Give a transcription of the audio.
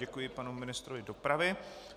Děkuji panu ministrovi dopravy.